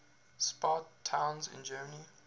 spa towns in germany